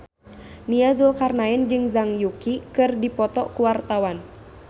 Nia Zulkarnaen jeung Zhang Yuqi keur dipoto ku wartawan